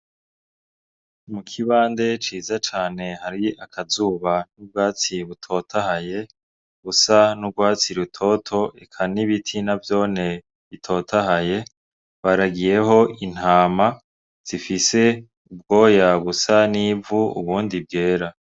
Mukibande ciza cane hariyo akazuba n'ubwatsi butotahaye, busa n'ugwatsi rutoto eka n'ibiti navyone bitotahaye, baragiyeho intama zifise ubwoya busa n'ivu, ubundi bwera.